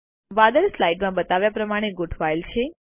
વાદળો સ્લાઇડ માં બતાવ્યા પ્રમાણે ગોઠવાયેલ છે